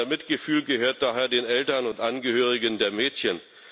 Unser Mitgefühl gehört daher den Eltern und Angehörigen der Mädchen.